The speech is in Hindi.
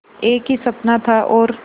एक ही सपना था और